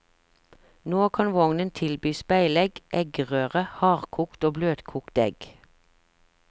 Nå kan vognen tilby speilegg, eggerøre, hardkokt og bløtkokt egg.